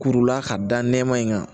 Kurula ka da nɛma in kan